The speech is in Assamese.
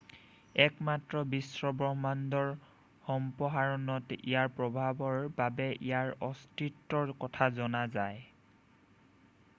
একমাত্ৰ বিশ্বব্ৰহ্মাণ্ডৰ সম্প্ৰসাৰণত ইয়াৰ প্ৰভাৱৰ বাবেই ইয়াৰ অস্তিত্বৰ কথা জনা যায়